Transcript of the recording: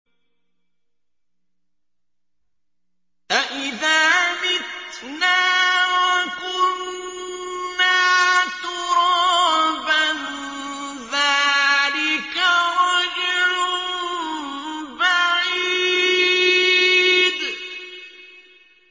أَإِذَا مِتْنَا وَكُنَّا تُرَابًا ۖ ذَٰلِكَ رَجْعٌ بَعِيدٌ